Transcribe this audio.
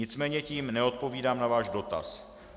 Nicméně tím neodpovídám na váš dotaz.